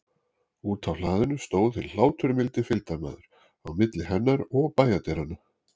Úti á hlaðinu stóð hinn hláturmildi fylgdarmaður, á milli hennar og bæjardyranna.